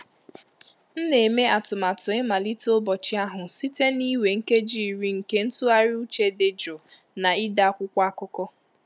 M na-eme atụmatụ ịmalite ụbọchị ahụ site na iwe nkeji iri nke ntụgharị uche dị jụụ na ide akwụkwọ akụkọ.